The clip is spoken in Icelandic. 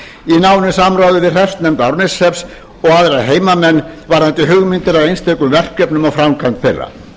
í nánu samráði við hreppsnefnd árneshrepps og aðra heimamenn varðandi hugmyndir að einstökum verkefnum og framkvæmd þeirra